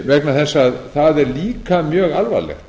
vegna þess að það er líka mjög alvarlegt